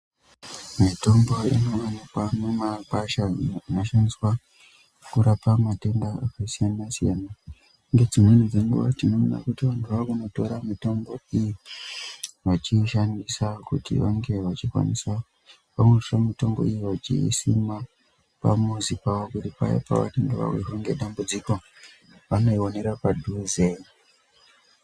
Mitombo inowanikwa mumakwasha inoshandiswa kurapa matenda akasiyana siyana .Ngedzimweni dzenguwa tinoona kuti antu anotora mitombo iyi vachiishandisa kuti vange vechikwanisa yooshe mitombo iyi vechiiisa pamuzi pawo paanenge awirwa ngedambudziko vanoionera padhuze.